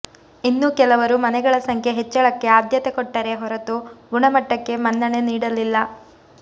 ಇನ್ನೂ ಕೆಲವರು ಮನೆಗಳ ಸಂಖ್ಯೆ ಹೆಚ್ಚಳಕ್ಕೆ ಆದ್ಯತೆ ಕೊಟ್ಟರೇ ಹೊರತು ಗುಣಮಟ್ಟಕ್ಕೆ ಮನ್ನಣೆ ನೀಡಲಿಲ್ಲ